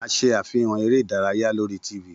A ṣe afihan ere idaraya lori t.v.